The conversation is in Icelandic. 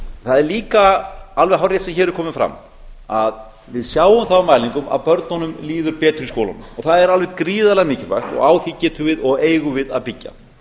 að er líka alveg hárrétt sem hér hefur komið fram að við sjáum það á mælingum að börnunum líður betur í skólanum og það er alveg gríðarlega mikilvægt og á því getum við og eigum við að byggja